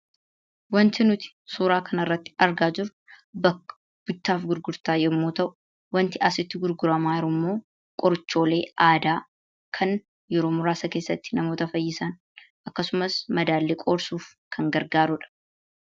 Wanti nuti suuraa kanarratti argaa jirru bakka bittaaf gurgurtaa yommuu ta'u, wanti asitti gurguramaa jirummoo qorichoolee aadaa kan yeroo muraasa keessatti nama fayyisan akkasumas madaa illee qoorsuuf kan gargaaruudha.